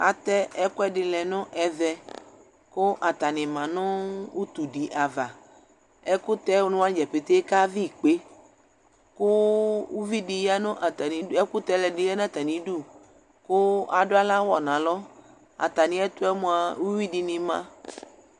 Atɛ ɛkʋɛdɩ lɛ nʋ evɛ: kʋ atanɩ ma nʋ utudɩ ava Ɛkʋtɛwanɩ dza pete kavɩ ikpe , kʋ uvidi ya nʋ atanɩ ɛkʋtɛlɛ dɩ ya n'atamidu , kʋ adʋ aɣlawa n'alɔ Atamiɛtʋɛ mʋa uyuidɩnɩ ma